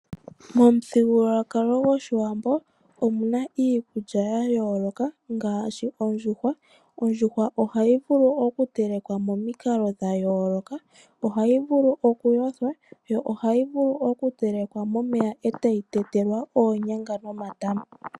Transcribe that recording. Momuthigululwakalo gwoshiwambo omuna iikulya ya yooloka ngaashi ondjuhwa. Ondjuhwa ohayi vulu oku telekwa mo mikalo dha yooloka. Ohayi vulu oku yothwa yo ohayi vulu oku telekwa momeya etayi tetelwa oonyanga nomatama.